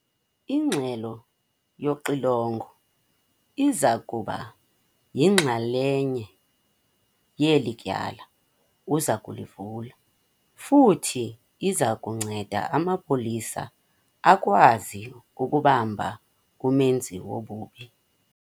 Ingxelo yoxilongo iza kuba yinxalenye yeli tyala uza kulivula futhi iza kunceda amapolisa akwazi ukubamba umenzi wobubi.